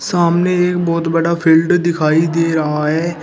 सामने एक बहोत बड़ा फील्ड दिखाई दे रहा है।